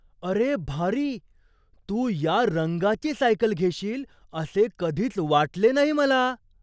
अरे, भारी! तू या रंगाची सायकल घेशील असे कधीच वाटले नाही मला.